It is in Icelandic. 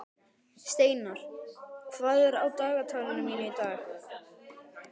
Steinar, hvað er á dagatalinu mínu í dag?